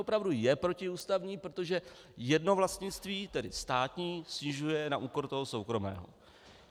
Opravdu je protiústavní, protože jedno vlastnictví, tedy státní, snižuje na úkor toho soukromého.